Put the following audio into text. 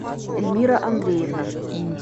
эльмира андреевна